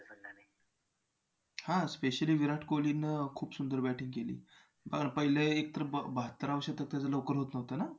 हां specially विराट कोहलीनं खूप सुंदर batting केली. बरं पहिले एक तर बहात्तराव शतक त्याचं लवकर हुकलं होतं ना